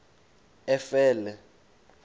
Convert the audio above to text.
efele